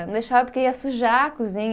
Não deixava porque ia sujar a cozinha.